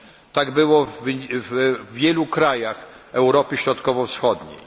Tak było w wielu krajach Europy Środkowo Wschodniej.